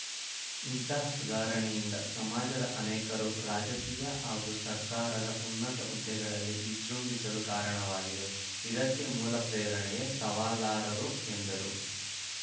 ಇಂತಹ ಸುಧಾರಣೆಯಿಂದ ಸಮಾಜದ ಅನೇಕರು ರಾಜಕೀಯ ಹಾಗೂ ಸರ್ಕಾರದ ಉನ್ನತ ಹುದ್ದೆಗಳಲ್ಲಿ ವಿಜೃಂಭಿಸಲು ಕಾರಣವಾಗಿದೆ ಇದಕ್ಕೆ ಮೂಲ ಪ್ರೇರಣೇಯೇ ಸವಾಲಾರರು ಎಂದರು